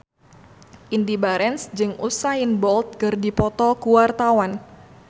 Indy Barens jeung Usain Bolt keur dipoto ku wartawan